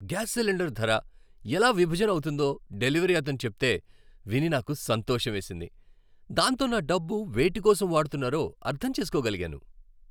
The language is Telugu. గ్యాస్ సిలిండర్ ధర ఎలా విభజన అవుతుందో డెలివరీ అతను చెప్తే విని నాకు సంతోషమేసింది. దాంతో నా డబ్బు వేటికోసం వాడుతున్నారో అర్థం చేసుకోగలిగాను.